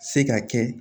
Se ka kɛ